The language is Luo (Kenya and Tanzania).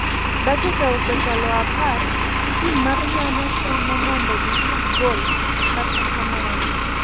Dakika osekalo apar ,tim mar nyanya temo mondo gi yud gol kata kamano,